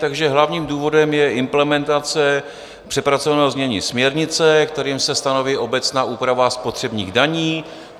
Takže hlavním důvodem je implementace přepracovaného znění směrnice, kterým se stanoví obecná úprava spotřebních daní.